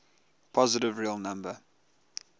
positive real number